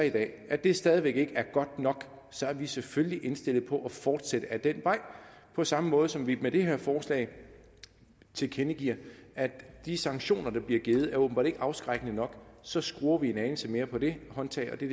i dag at det stadig væk ikke er godt nok så er vi selvfølgelig indstillet på at fortsætte ad den vej på samme måde som vi med det her forslag tilkendegiver at de sanktioner der bliver givet åbenbart ikke er afskrækkende nok og så skruer vi en anelse mere på det håndtag og det